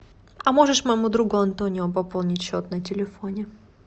а можешь моему другу антонио пополнить счет на телефоне